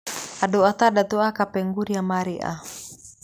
Andũ Atandatũ a Kapenguria maarĩ a?